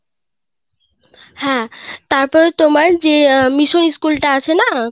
হ্যাঁ তারপর তোমার যে অ্যাঁ মিশন school টা আছে না